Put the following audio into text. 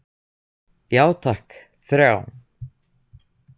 Já takk, þrjá.